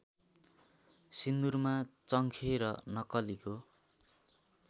सिन्दुरमा चङ्खे र नक्कलीको